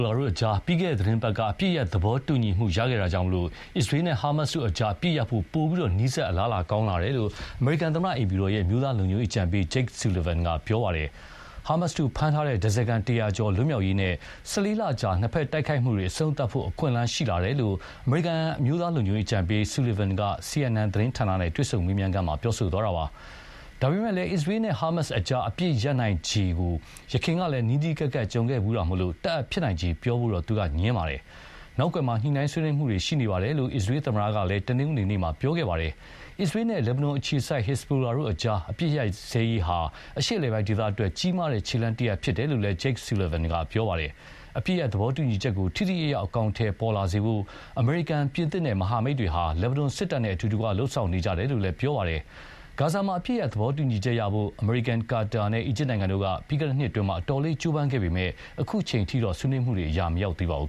လာအကြား ပြီးခဲ့တဲ့သီတင်းပတ်က အပစ်ရပ်သဘောတူညီမှုရခဲ့တာကြောင့်၊ အစ္စရေးနဲ့ ဟာမတ်စ်တို့အကြား အပစ်ရပ်ဖို့ ပိုပြီး အလားအလာကောင်းလာတယ်လို့ အမေရိကန်သမ္မတအိမ်ဖြူတော် အမျိုးသားလုံခြုံရေးအကြံပေး Jake Sullivan က ပြောပါတယ်။ ဟာမတ်စ်တို့ဖမ်းထားတဲ့ ဓါးစားခံ တရာကျော် လွတ်မြောက်ရေးနဲ့ ၁၄လကြာ နှစ်ဖက် တိုက်ခိုက်မှုတွေ အဆုံးသတ်ဖို့ အခွင့်အလမ်းရှိလာတယ်လို့ အမေရိကန်အမျိုးသားလုံခြုံရေးအကြံပေး Sullivan က CNN သတင်းဌာနနဲ့ တွေ့ဆုံမေးမြန်းခန်းမှာပြောသွားတာပါ။ ဒါပေမယ့်လည်း အစ္စရေးန့ ဟာမတ်စ်အကြား အပစ်ရပ်နိုင်ချေဖို့ ယခင်ကလည်း နီးနီးကပ်ကပ်ကြုံခဲ့ဖူးတာမို့၊ တပ်အပ်ဖြစ်နိုင်ခြေ ပြောဖို့တော့ ငြင်းပါတယ်။ နောက်ကွယ်မှာ ညှိုနှိုင်းဆွေးနွေးမှုတွေရှိနေတယ်လို့ အစ္စရေးသမ္မတက လည်း တနင်္ဂနွေနေ့က ပြောခဲ့ပါတယ်။ အစ္စရေးန့ လက်ဘနွမ်အခြေစိုက် ဟက်ဇဘိုလာတို့အကြား အပစ်ရပ်စဲရေးဟာ အရှေ့အလယ်ပို်င်းဒေသအတွက် ကြီးမားတဲ့ခြေလှမ်းတရပ်ဖြစ်တယ်လို့လည်း Jake Sullivan က ပြောပါတယ်။ အပစ်ရပ်သဘောတူညီချက်ကို ထိထိရောက်ရောက်အကောင်အထည်ပေါ်လာစေဖို့ အမေရိကန် ပြင်သစ်နဲ့ မဟာမိတ်တွေဟာ လက်ဘနွမ်စစ်တပ်နဲ့ အတူတကွလုပ်ဆောင်နေကြတယ်လို့လည်း ပြောပါတယ်။ ဂါဇာမှာ အပစ်ရပ်ရေးသဘောတူညီချက်ရဖို့ အမေရိကန် ကာတာနဲ့ အီဂျစ်နိုင်ငံတို့က ပြီးခဲ့တဲ့နှစ်အတွင်း အတော်လေး ကြိုးပမ်းခဲ့ပေမယ့် အခုချိန်အထိတော့ ဆွေးနွေးမှုတွေက အရာမရောက်သေးပါဘူး